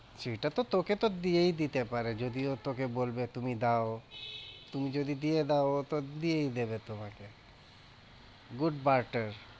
সেটা তো তোকে তো দিয়েই দিতে পারে যদি ও তোকে বলবে তুমি দাও তুমি যদি দিয়ে দাও, ও তো দিয়েই দেবে তোমাকে good butter